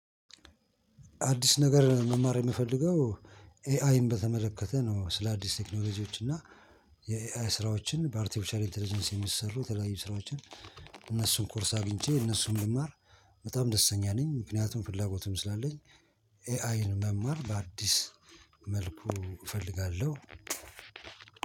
አዲስ ነገር መማር የምፈልገው ኤአይን በተመለከተ ነው። ስለ አዲስ ቴክኖሎጂዎች እና የኤአይ ስራዎችን፤ በአርቲፊሻል ኢንተለጀንስ የሚሰሩ የተለያዩ ስራዎችን፤ እነሱን ኮርስ አጊኝቼ እነሱን ብማር በጣም ደስተኛ ነኝ። ምክንያቱም ፍላጎቱም ስላለኝ ኤአይን መማር በአዲስ መልኩ እፈልጋለሁ።